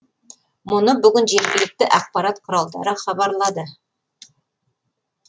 мұны бүгін жергілікті ақпарат құралдары хабарлады